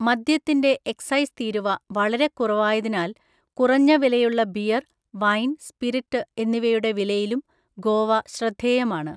മദ്യത്തിന്റെ എക്സൈസ് തീരുവ വളരെ കുറവായതിനാൽ കുറഞ്ഞ വിലയുള്ള ബിയർ, വൈൻ, സ്പിരിറ്റ് എന്നിവയുടെ വിലയിലും ഗോവ ശ്രദ്ധേയമാണ്.